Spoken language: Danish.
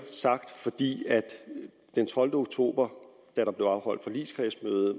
sagt fordi der den tolvte oktober da der blev afholdt forligskredsmøde